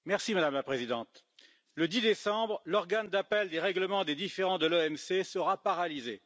Madame la Présidente, le 10 décembre, l'Organe d'appel des règlements des différends de l'OMC sera paralysé.